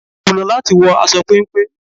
Kùnà láti wọ aṣọ péńpé.